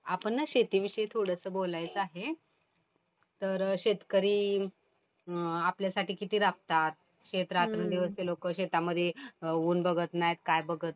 बर आपण ना शेतीविषयी थोडंस बोलायचं आहे. तर शेतकरी आपल्यासाठी किती राबतात. शेत रात्रंदिवस ते लोकं शेतामध्ये ऊन बघत नाहीत काही बघत